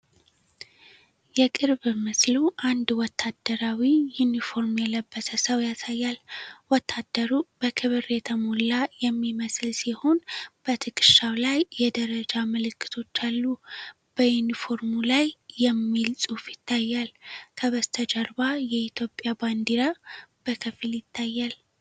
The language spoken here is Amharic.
የቅርብ ምስሉ አንድ ወታደራዊ ዩኒፎርም የለበሰ ሰው ያሳያል። ወታደሩ በክብር የተሞላ የሚመስል ሲሆን፣ በትከሻው ላይ የደረጃ ምልክቶች አሉ። በዩኒፎርሙ ላይ "ETHIOPIAN ARMY” የሚል ፅሑፍ ይታያል። ከበስተጀርባ የኢትዮጵያ ባንዲራ በከፊል ይታያል